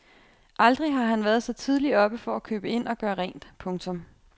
Aldrig har han været så tidligt oppe for at købe ind og gøre rent. punktum